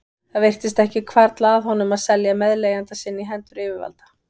Það virtist ekki hvarfla að honum að selja meðleigjanda sinn í hendur yfirvalda.